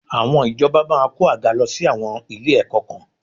Àwọn ìjọba máa kó àga lọ sí àwọn ilé-ẹ̀kọ́ kan